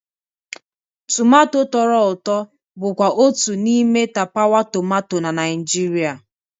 Tumato tọrọ ụtọ bụkwa otu n'ime tapawa tomato na Naịjirịa.